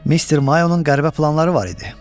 Mr. Mayonun qəribə planları var idi.